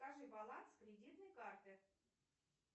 скажи баланс кредитной карты